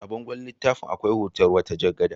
A bangon littafin akwai hoton wata jar gada.